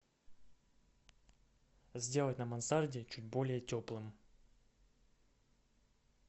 сделать на мансарде чуть более теплым